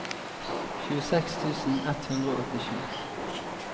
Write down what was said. tjueseks tusen ett hundre og åttisju